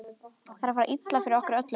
Það er að fara illa fyrir okkur öllum.